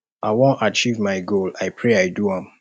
i wan achieve my goal i pray i do am